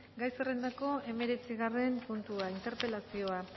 gai zerrendako hemeretzigarren puntua interpelazioa